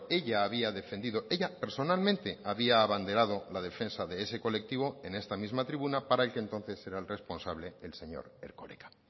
ella había defendido ella personalmente había abanderado la defensa de ese colectivo en esta misma tribuna para el que entonces era el responsable el señor erkoreka